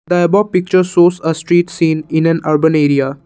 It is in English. the above picture shows a street scene in an urban area.